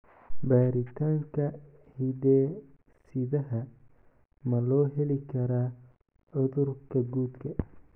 Baaritaanka hidde-sidaha ma loo heli karaa cudurka guddka?